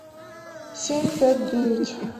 семь пять девять